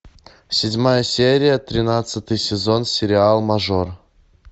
седьмая серия тринадцатый сезон сериал мажор